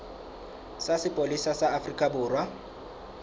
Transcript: sa sepolesa sa afrika borwa